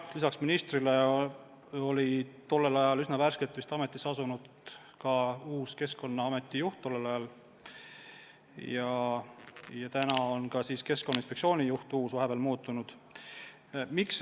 Jah, minister on vahetunud ja tollel ajal oli vist uus Keskkonnaameti juht värskelt ametisse astunud ja nüüd on ka Keskkonnainspektsioonil uus juht.